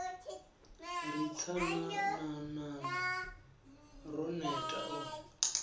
ri tsanananana ro neta u